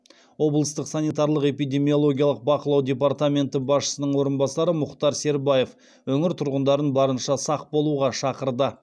облыстық санитарлық эпидемиологиялық бақылау департаменті басшысының орынбасар мұхтар сербаев өңір тұрғындарын барынша сақ болуға шақырды